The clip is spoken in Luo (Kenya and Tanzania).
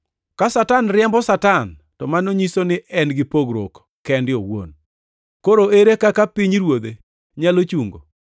Ka Satan riembo Satan to mano nyiso ni en gi pogruok kende owuon. Koro ere kaka pinyruodhe nyalo chungo?